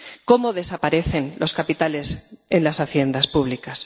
cómo desaparecen los capitales en las haciendas públicas